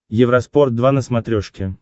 евроспорт два на смотрешке